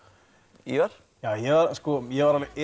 Ívar ég var alveg